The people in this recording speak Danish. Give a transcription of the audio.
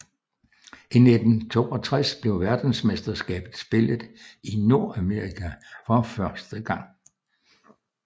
I 1962 blev verdensmesterskabet spillet i Nordamerika for første gang